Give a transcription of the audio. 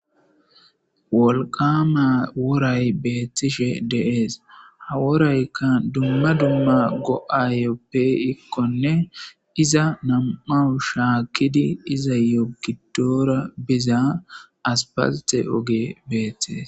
Wolqqaama woray beeththishee de7ees; ha woraykka dumma dumma go7aayyoo pee7ikkonne iza nam7awu shaakkidi izayyoo giddoora biza asppalththe ogee beeththizes.